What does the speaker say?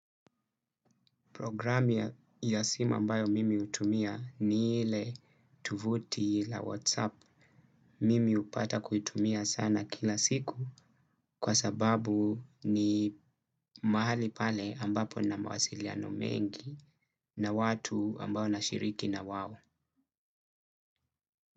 Programu ya simu ambayo mimi utumia ni ile tuvuti la whatsapp. Mimi upata kuitumia sana kila siku kwa sababu ni mahali pale ambapo na mawasiliano mengi na watu ambao na shiriki na wao.